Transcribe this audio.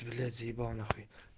блять заебал нахуй